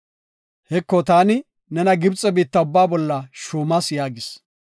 Heko, taani nena Gibxe biitta ubba bolla shuumas” yaagis.